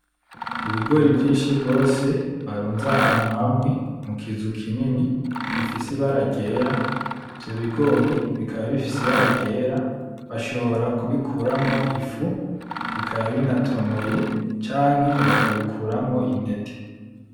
Ibigori vyinshi gose barunze ahantu hamwe mu kizu kinini ibifise ibara ryera, ivyo bigori bikaba bifise ibara ryera bashobora kubikuramwo ifu bikaba binatonoye canke bakabikuramwo intete.